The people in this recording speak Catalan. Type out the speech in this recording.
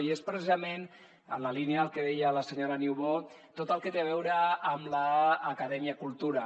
i és precisament en la línia del que deia la senyora niubó tot el que té a veure amb l’acadèmia cultura